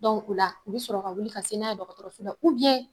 o la u bɛ sɔrɔ ka wili ka se n'a ye dɔgɔtɔrɔso la